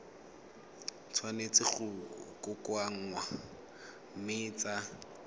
tshwanetse go kokoanngwa mme tsa